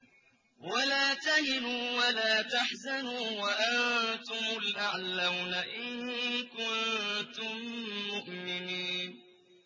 وَلَا تَهِنُوا وَلَا تَحْزَنُوا وَأَنتُمُ الْأَعْلَوْنَ إِن كُنتُم مُّؤْمِنِينَ